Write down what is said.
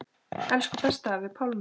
Elsku besti afi Pálmi.